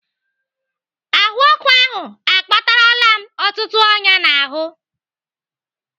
Ahụọkụ ahụ akpatarala m ọtụtụ ọnyá n'ọnụ.